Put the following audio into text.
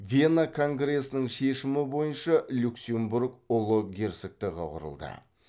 вена конгресінің шешімі бойынша люксембург ұлы герцогтігі құрылды